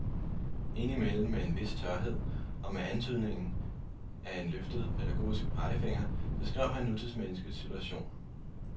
Indimellem med en vis tørhed og med antydning af en løftet pædagogisk pegefinger beskrev han nutidsmenneskets situation.